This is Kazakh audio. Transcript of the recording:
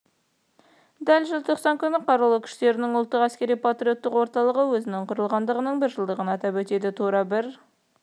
дәл желтоқсан күні қарулы күштерінің ұлттық әскери-патриоттық орталығы өзінің құрылғандығының бір жылдығын атап өтеді тура бір